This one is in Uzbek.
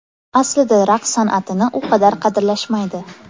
Aslida raqs san’atini u qadar qadrlashmaydi.